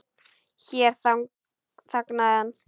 Hér þagnaði hann.